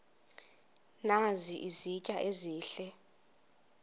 nazi izitya ezihle